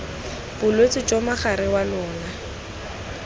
bolwetse jo mogare wa lona